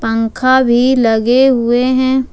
पंखा भी लगे हुए हैं।